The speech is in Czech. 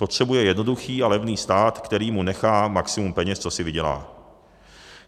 Potřebuje jednoduchý a levný stát, který mu nechá maximum peněz, co si vydělá.